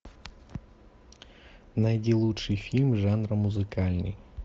найди лучший фильм жанра музыкальный